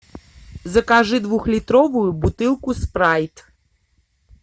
закажи двухлитровую бутылку спрайт